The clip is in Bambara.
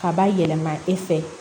Ka ba yɛlɛma e fɛ